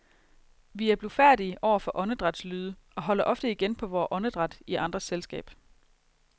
Vi er blufærdige over for åndedrætslyde, og holder ofte igen på vores åndedræt i andres selskab.